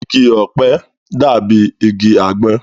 Igi ọ̀pẹ dàbí igi àgbọn